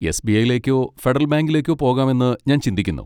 SBI. യിലേക്കോ federal ബാങ്കിലേക്കോ പോകാമെന്ന് ഞാൻ ചിന്തിക്കുന്നു.